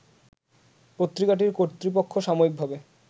পত্রিকাটির কর্তৃপক্ষ সাময়িকভাবে